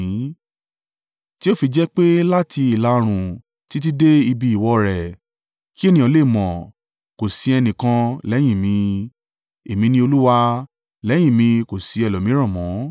tí o fi jẹ́ pé láti ìlà-oòrùn títí dé ibi ìwọ̀ rẹ̀ kí ènìyàn le mọ̀, kò sí ẹnìkan lẹ́yìn mi. Èmi ni Olúwa, lẹ́yìn mi kò sí ẹlòmíràn mọ́.